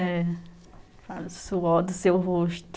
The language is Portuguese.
É, é. Suor do seu rosto.